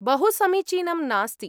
बहु समीचीनं नास्ति।